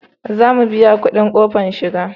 Za mu biya kudin kofar shiga